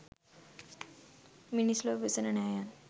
මිනිස් ලොව වෙසෙන නෑයන්